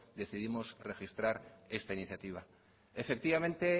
decidimos registrar esta iniciativa efectivamente